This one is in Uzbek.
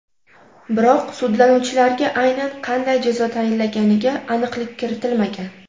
Biroq sudlanuvchilarga aynan qanday jazo tayinlanganiga aniqlik kiritilmagan.